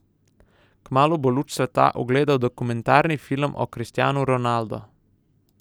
Kmalu bo luč sveta ugledal dokumentarni film o Cristanu Ronaldo.